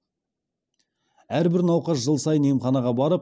әрбір науқас жыл сайын емханаға барып